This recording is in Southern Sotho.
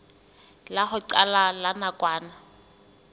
la ho qala la nakwana